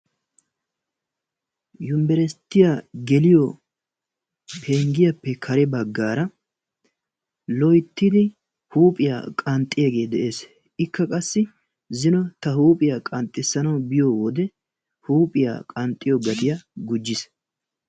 Yunbberssitya geliyo penggiyappe kare baggara loyttidi huuphiyaa qanxxiyagee de''ees. Ikka qassi zino ta huuphiyaa qanxxissanaw biyo wode huuphiyaa qanxxiyo gatiya gujjiis.